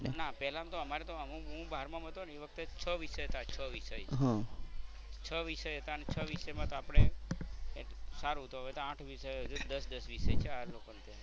પેલા તો અમારે હું બારમાં માં હતો ને એ વખતે છ વિષય હતા છ વિષય. હા છ વિષય હતા ને છ વિષયમાં તો આપણે સારું હતું હવે તો આઠ વિષય દસ દસ વિષય.